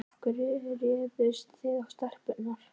Af hverju réðust þið á stelpurnar